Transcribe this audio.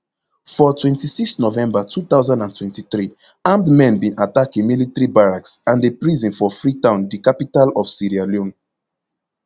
for twenty-six november two thousand and twenty-three armed men bin attack a military barracks and a prison for freetown di capital of sierra leone